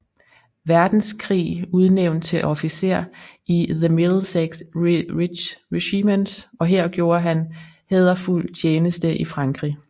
Verdenskrig udnævnt til officer i The Middlesex Regiment og her gjorde han hæderfuld tjeneste i Frankrig